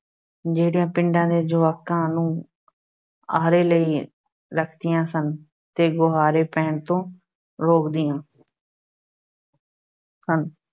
ਜਿਹੜੀਆਂ ਪਿੰਡਾਂ ਦੇ ਯੁਵਕਾਂ ਨੂੰ ਆਹਰੇ ਲਾਈ ਰੱਖਦੀਆਂ ਸਨ ਤੇ ਗੁਹਾਰੇ ਪੈਣ ਤੋਂ ਰੋਕਦੀਆਂ ਸਨ।